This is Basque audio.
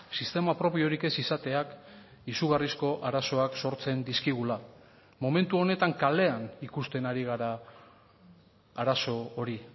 sistema propiorik ez izateak izugarrizko arazoak sortzen dizkigula momentu honetan kalean ikusten ari gara arazo hori